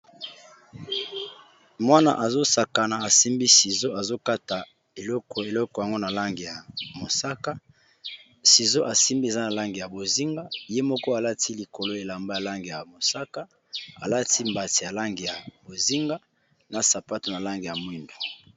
Mwana azo sakana asimbi sizo azokata eloko ya langi mosaka asimbi sizo eza na langi ya bozenga ye moko alati elamba ya langi ya mosaka alati mbati eza na langi ya bozenga na sapato ya langi ya moyindo.